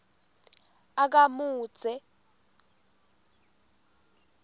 akamudze